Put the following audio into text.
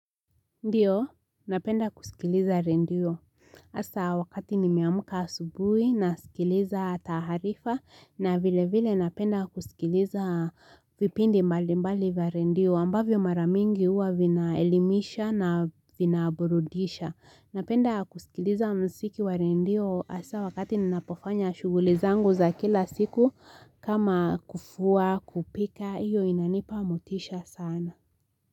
Ndiyo napenda kusikiliza redio hasa wakati nimeamka asubuhi nasikiliza taarifa na vile vile napenda kusikiliza vipindi mbali mbali wa redio ambavyo maramingi huwa vinaelimisha na vina burudisha napenda kusikiliza mziki wa redio hasaa wakati ninapofanya shuguli zangu za kila siku kama kufua kupika iyo inanipa motisha sana.